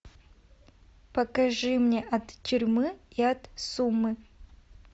покажи мне от тюрьмы и от сумы